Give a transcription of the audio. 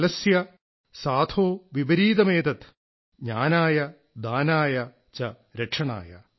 ഖലസ്യ സാധോഃ വിപരീതമേതത് ജ്ഞാനായ ദാനായ ച രക്ഷണായ